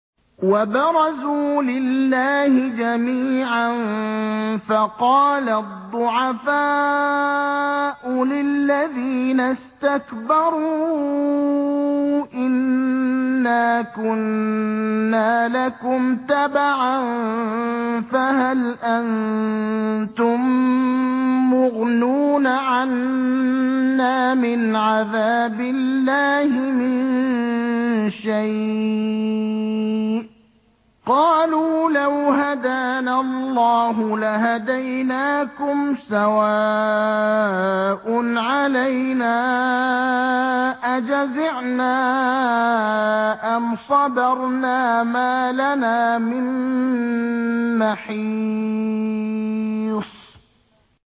وَبَرَزُوا لِلَّهِ جَمِيعًا فَقَالَ الضُّعَفَاءُ لِلَّذِينَ اسْتَكْبَرُوا إِنَّا كُنَّا لَكُمْ تَبَعًا فَهَلْ أَنتُم مُّغْنُونَ عَنَّا مِنْ عَذَابِ اللَّهِ مِن شَيْءٍ ۚ قَالُوا لَوْ هَدَانَا اللَّهُ لَهَدَيْنَاكُمْ ۖ سَوَاءٌ عَلَيْنَا أَجَزِعْنَا أَمْ صَبَرْنَا مَا لَنَا مِن مَّحِيصٍ